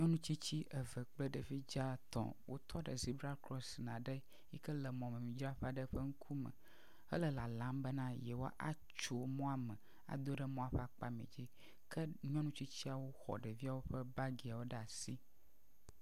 Nyɔnutsitsi eve kple ɖevi dzaa etɔ̃ wotɔ ɖe zebra crossing aɖe yike le mɔmemidzraƒe aɖe ƒe ŋkume hele lalam bena yewoa atso mɔa me ado ɖe mɔa ƒe akpa mɛ dzi, ke nyɔnutsitsiawo xɔ ɖeviawo ƒe bagiawo ɖe asi.